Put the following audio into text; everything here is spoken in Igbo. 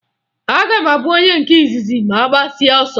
Aga m abụ onye nke izizi ma a gbasịa ọsọ